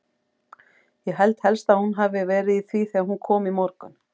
Ég held helst að hún hafi verið í því þegar hún kom í morgun.